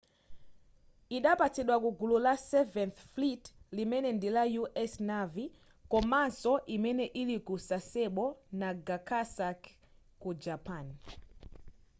idapatsidwa kugulu la seventh fleet limene ndila u.s. navy komanso imene ili ku sasebo nagasaki ku japan